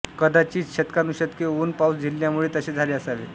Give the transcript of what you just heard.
कदाचित शतकानुशतके ऊन पाऊस झेलल्यामुळे तसे झाले असावे